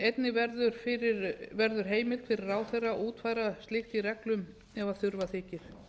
einnig verður heimild fyrir ráðherra að útfæra slíkt í reglum ef þurfa þykir